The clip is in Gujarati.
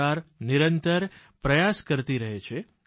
સરકાર નિરંતર પ્રયાસ કરતી રહે છે